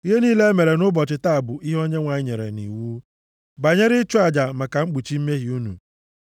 Ihe niile e mere nʼụbọchị taa bụ ihe Onyenwe anyị nyere nʼiwu, banyere ịchụ aja maka mkpuchi mmehie unu.”